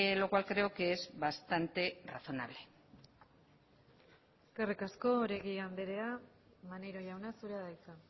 lo cual creo que es bastante razonable eskerrik asko oregi andrea maneiro jauna zurea da hitza